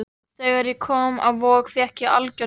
Þegar ég kom inn á Vog fékk ég algjört sjokk.